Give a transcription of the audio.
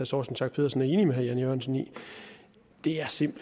torsten schack pedersen er enig med herre jan e jørgensen i vil jeg sige